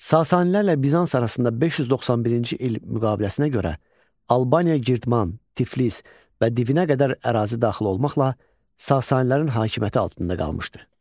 Sasanilərlə Bizans arasında 591-ci il müqaviləsinə görə Albaniya, Girdman, Tiflis və Divinə qədər ərazi daxil olmaqla Sasanilərin hakimiyyəti altında qalmışdı.